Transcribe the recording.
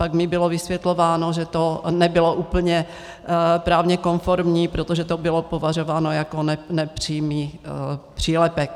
Pak mi bylo vysvětlováno, že to nebylo úplně právně konformní, protože to bylo považováno jako nepřímý přílepek.